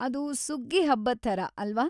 ಅದು ಸುಗ್ಗಿ ಹಬ್ಬದ್ ಥರ ಅಲ್ವಾ?